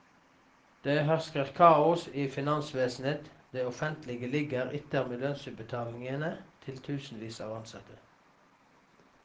Det hersker kaos i finansvesenet, det offentlige ligger etter med lønnsutbetalingene til tusenvis av ansatte.